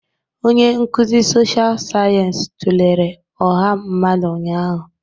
Onye nkuzi sọsha sayensị tụlere ọha mmadụ ụnyaahụ.